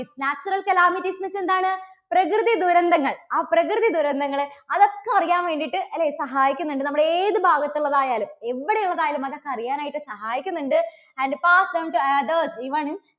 natural calamities എന്ന് വെച്ചാൽ എന്താണ്? പ്രകൃതി ദുരന്തങ്ങൾ. ആ പ്രകൃതി ദുരന്തങ്ങള് അതൊക്കെ അറിയാൻ വേണ്ടിയിട്ട് അല്ലേ സഹായിക്കുന്നുണ്ട് നമ്മുടെ ഏതു ഭാഗത്തുള്ളത് ആയാലും, എവിടെ ഉള്ളത് ആയാലും. അതൊക്കെ അറിയാൻ ആയിട്ട് സഹായിക്കുന്നുണ്ട്. and pass turn to the authors even in